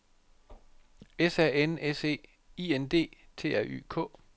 S A N S E I N D T R Y K